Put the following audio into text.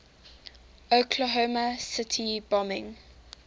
oklahoma city bombing